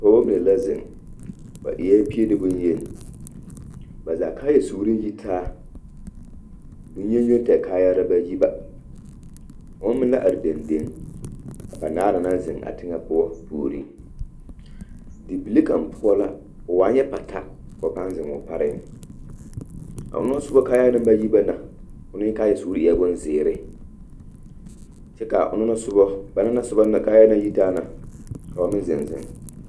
Pɔgbɔ mine la zeŋ ba eɛɛ pie ne bonyeni ba zaa kaaya suuri yi taa bonyen yoŋ tɛg kaayaare ba yi ba oŋ meŋ la are deŋdeŋ a banaare na naŋ zeŋ a teŋɛ poɔ puoreŋ di bibile kaŋ poɔ o waa nyɛ pata kaa ba paaŋ zeŋuu pareŋ a onoŋ sobɔ kaayaa naŋ ba yi ba na oneŋ kaaya suuri eɛɛ bonzeere kyɛ kaa onoŋ na sobɔ banaŋ na sobɔ kaayaa naŋ yitaa na ka ba meŋ zeŋ zeŋ.